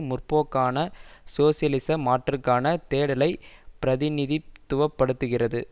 முற்போக்கான சோசியலிச மாற்றுக்கான தேடலைப் பிரதிநிதித்துவப்படுத்துகிறது